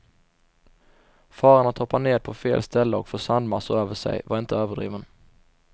Faran att hoppa ned på fel ställe och få sandmassor över sig, var inte överdriven.